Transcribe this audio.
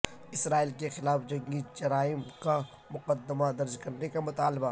اسرائیل کے خلاف جنگی جرائم کا مقدمہ درج کرنے کا مطالبہ